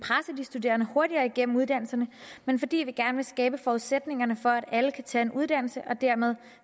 studerende hurtigere igennem uddannelserne men fordi vi gerne vil skabe forudsætningerne for at alle kan tage en uddannelse og dermed